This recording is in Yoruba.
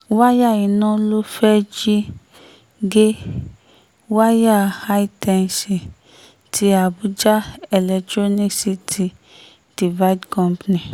wáyà iná ló fẹ́ẹ̀ jí gé wáyà hightensi ti àbújá electronicity divid company